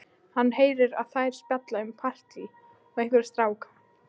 Hann heyrir að þær spjalla um partí og einhverja stráka.